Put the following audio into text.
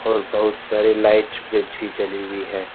और बहुत सारी लाइट जली हुई है।